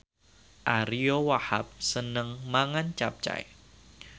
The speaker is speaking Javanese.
Ariyo Wahab seneng mangan capcay